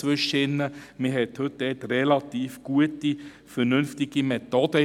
Heute gibt es relativ gute und vernünftige Methoden.